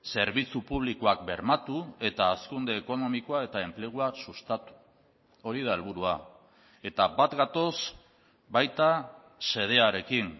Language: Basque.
zerbitzu publikoak bermatu eta hazkunde ekonomikoa eta enplegua sustatu hori da helburua eta bat gatoz baita xedearekin